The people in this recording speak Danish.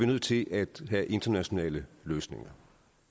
nødt til at have internationale løsninger